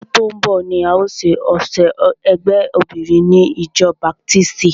Ọdún tó ń bọ̀ ni a o ṣe ọ̀sẹ̀ ẹgbé obinrin ni ìjọ baptisti.